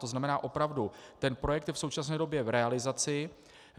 To znamená opravdu, ten projekt je v současné době v realizaci.